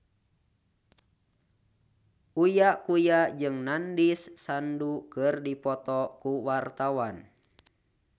Uya Kuya jeung Nandish Sandhu keur dipoto ku wartawan